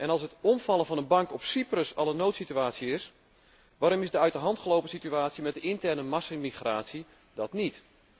Als het omvallen van een bank op Cyprus al een noodsituatie is, waarom is de uit de hand gelopen situatie met de interne massamigratie dat niet?